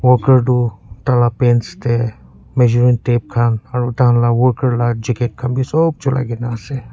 worker tu taila pants teh measuring tape khan aru taila worker la jacket khan bi sop chuliagena ase.